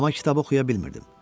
Amma kitabı oxuya bilmirdim.